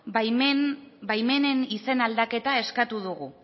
baimenen izen aldaketa eskatu dugu